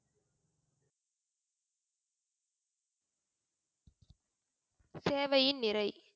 சேவையின் நிறை.